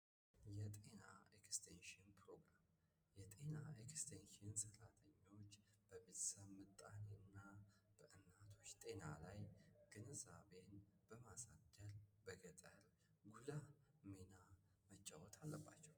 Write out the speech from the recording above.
የጤና ኤክስቴንሽን ፕሮግራም የጤና ኤክስቴንሽን ሰራተኞች በቤተሰብ ምጣኔ እና በእናቶች ጤና ላይ ግንዛቤ በማሳደር በገጠር ጉልህ ሚና መጫወት አለባቸው።